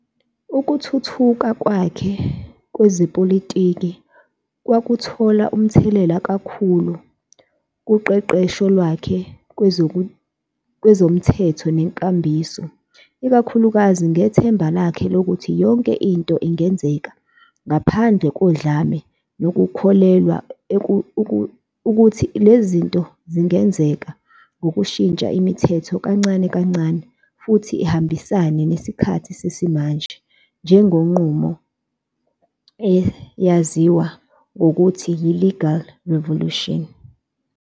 Ukuthuthuka kwakhe kwezepolitiki kwakuthola umthelela kakhulu kuqeqesho lwakhe kwezomthetho nenkambiso, ikakhulukazi ngethemba lakhe lokuthi yonke into ingenzeka ngaphandle kodlame nokukholelwa ukuthi lezi zinto zingenzeka ngokushintsha imithetho kancane-kancane futhi ihambisane nesikhathi sesimanje ngenqubo eyaziwa ngokuthi yi"legal revolution".